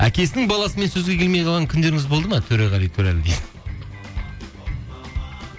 әкесінің баласымен сөзге келмей қалған күндеріңіз болды ма төреғали төрәлі дейді